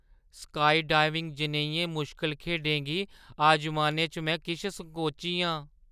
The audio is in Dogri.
स्काईडाइविंग जनेहियें मुश्कल खेढें गी अजमाने च में किश संकोची आं।